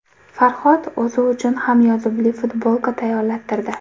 Farhod o‘zi uchun ham yozuvli futbolka tayyorlattirdi.